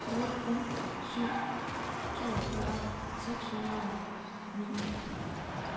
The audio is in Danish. syv otte fem syv toogfyrre seks hundrede og niogfyrre